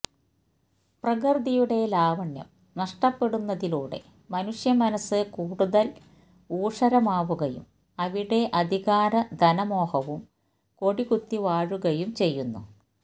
പ്രകൃതിയുടെ ലാവണ്യം നഷ്ടപ്പെടുന്നതിലൂടെ മനുഷ്യമനസ്സ് കൂടുതല് ഊഷരമാവുകയും അവിടെ അധികാര ധനമോഹവും കൊടികുത്തി വാഴുകയും ചെയ്യുന്നു